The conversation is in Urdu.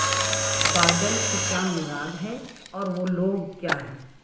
بادل سے کیا مراد ہے اور وہ لوگ کیا ہیں